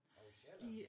Ovre Sjælland?